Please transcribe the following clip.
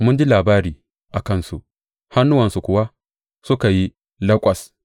Mun ji labari a kansu, hannuwanmu kuwa suka yi laƙwas.